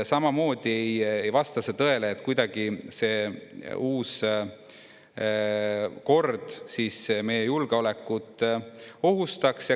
Samamoodi ei vasta see tõele, et kuidagi see uus kord meie julgeolekut ohustaks.